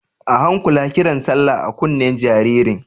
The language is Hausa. A hankula kiran sallah a kunnen jaririn!